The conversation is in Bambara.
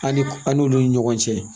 An ni an n'olu ni ɲɔgɔn cɛ